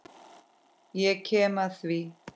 Ég kem að því.